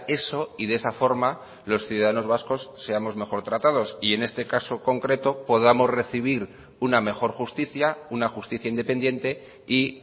eso y de esa forma los ciudadanos vascos seamos mejor tratados y en este caso concreto podamos recibir una mejor justicia una justicia independiente y